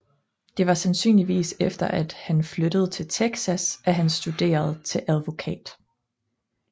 Det var sandsynligvis efter at han flyttede til Texas at han studerede til advokat